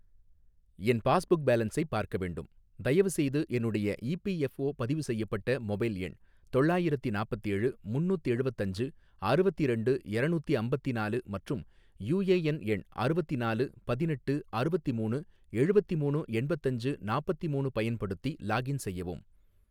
என் passbook பேலன்ஸை பார்க்க வேண்டும், தயவுசெய்து என்னுடைய இபிஎஃப்ஓ பதிவு செய்யப்பட்ட மொபைல் எண் தொள்ளாயிரத்தி நாப்பத்தேழு முன்னூத்தெழுவத்தஞ்சு அறுவத்திரண்டு எரநூத்தி அம்பத்தினாலு மற்றும் யூஏஎன் எண் அறுவத்தினாலு பதினெட்டு அறுவத்திமூணு எழுவத்திமூணு எண்பத்தஞ்சு நாப்பத்திமூணு பயன்படுத்தி லாகின் செய்யவும்.